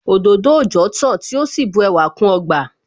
Òdòdó òòjọ́ tán tí ó sì bu ẹwà kún ọgbà